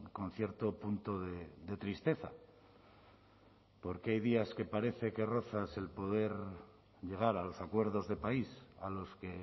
con cierto punto de tristeza porque hay días que parece que rozas el poder llegar a los acuerdos de país a los que